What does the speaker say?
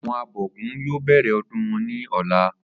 Àwo̩n abò̩gún yóò bè̩rè̩ o̩dún wo̩n ní ò̩la